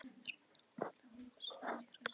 Hermennirnir voru komnir út að húsi séra Bjarna.